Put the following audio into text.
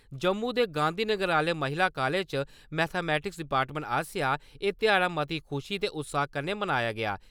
जम्मू दे गांधीनगर आह्‌ले महिला कॉलेज च, मैथेमैटिक्स आस्सेआ एह् ध्याड़ा मती खुशी ते उत्साह कन्नै मनाया गेआ।